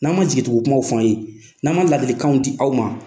N'an ma jigitugu kumaw fɔ an ye n'an ma ladilikanw di aw ma.